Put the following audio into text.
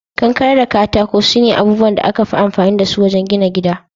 Kankare da katako sune abubuwan da aka fi amfani dasu wajen gina gida.